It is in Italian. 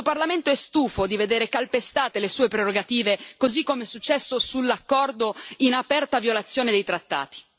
Questo Parlamento è stufo di vedere calpestate le sue prerogative, così come è successo sull'accordo in aperta violazione dei trattati.